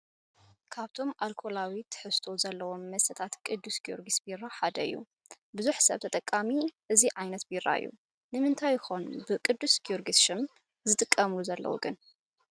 መስተታት፡- ካብቶም ኣልኮላዊ ትሕዝቶ ዘለዎም መስተታት ቅዱስ ጊዮርግስ ቢራ ሓደ እዩ፡፡ ብዙሕ ሰብ ተጠቃሚ እዚ ዓይነት ቢራ እዩ፡፡ ንምንታይ ይኾን ብቅ/ጊድርግስ ሽም ዝሽቅጡሉ ዘለው ግን?